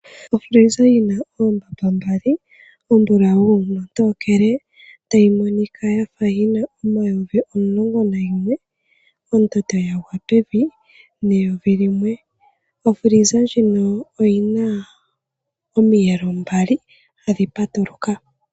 Ofiliza yina oombamba mbali ombulawu nontookele tayi monika yafa yina omayovi omulongo nayimwe. Ondando yagwa pevi neyovi limwe. Ofiliza ndjino oyina omiyelo mbali hadhi patuluka.